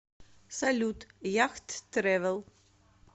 салют яхт трэвел